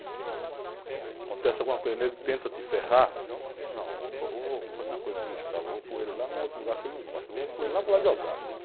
Acontece alguma coisa, tenta te ferrar, não, vou, eu vou fazer uma coisa com o, vou pôr ele lá num outro lugar que ele não gosta, vou pôr ele lá por lá de Osasco.